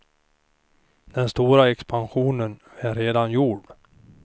Den stora expansionen är redan gjord.